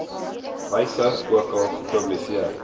wyse ookal gepubliseer